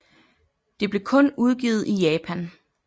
Det blev kun udgivet i Japan